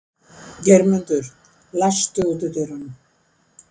Geirmundur, læstu útidyrunum.